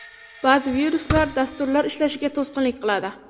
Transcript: Ba’zi viruslar dasturlar ishlashiga to‘sqinlik qiladi.